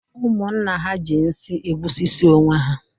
Ụmụnna ha ji nsị egbusisi onwe ha